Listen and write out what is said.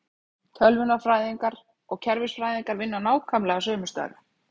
Tölvunarfræðingar og kerfisfræðingar vinna nákvæmlega sömu störf.